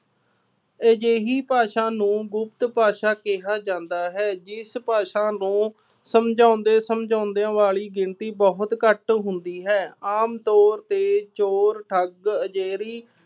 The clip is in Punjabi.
ਅਜਿਹੀ ਭਾਸ਼ਾ ਨੂੰ ਗੁਪਤ ਭਾਸ਼ਾ ਕਿਹਾ ਜਾਦਾ ਹੈ। ਜਿਸ ਭਾਸ਼ਾ ਨੂੰ ਸਮਝਾਉਂਦੇ ਸਮਝਾਂਉਂਦਿਆਂ ਵਾਲੀ ਗਿਣਤੀ ਬਹੁਤ ਘੱਟ ਹੁੰਦੀ ਹੈ। ਆਮ ਤੌਰ ਤੇ ਚੋਰ, ਠੱਗ ਅਜਿਹੀ